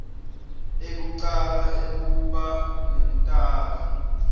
ekucala ekuba ngumtali